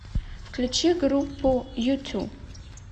включи группу ю тю